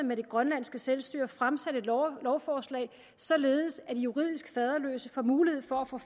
med det grønlandske selvstyre fremsat et lovforslag således at juridisk faderløse får mulighed for at få